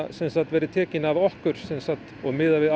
verði tekin af okkur og miðað við